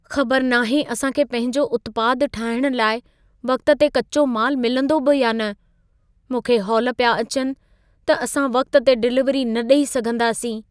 ख़बरु नाहे असां खे पंहिंजो उत्पाद ठाहिणु लाइ वक़्त ते कचो माल मिलंदो बि या न! मूंखे हौल पिया अचनि त असां वक़्त ते डिलिवरी न ॾेई सघंदासीं।